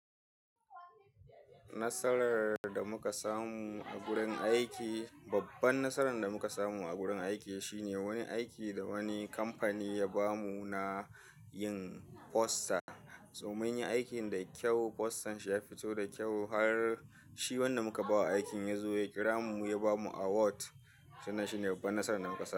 Nasarar da muka samu a gurin aiki, babban nasarar da muka samu a gurin aiki shine wani aiki da wani kamfani ya bamu na yin posta. So munyi aikin da kyau, postan shi ya fito da kyau har shi wanda muka ba wa aikin ya zo ya kira mu ya bamu award. Wannan shi ne babban nasarar da muka samu.